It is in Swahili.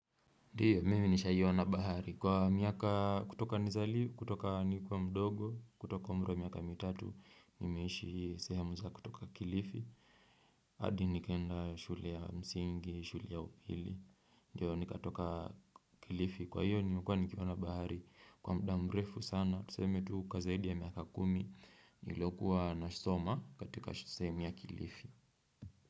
Ndio, mimi nishaiona bahari. Kwa miaka kutoka nizali, kutoka nikiwa mdogo, kutoka umri wa miaka mitatu, nimeishi sehamu za kutoka kilifi. Hadi nikaenda shule ya msingi, shule ya upili. Ndio, nikatoka kilifi. Kwa hiyo, nimekua nikiona bahari. Kwa muda mrefu sana, tuseme tu kwa zaidi ya miaka kumi, niliokuwa nasoma katika sehemu ya kilifi.